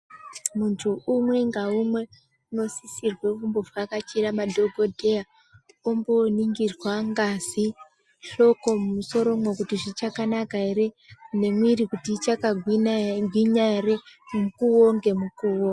Muntu umwe naumwe anosisirwa kuvhakachira madhokodheya omboningirwa ngazi hloko mumusoro nekuti zvichakanaka ere nemwiri dzichakagwinya ere mukuwo ngemukuwo.